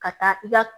Ka taa i ka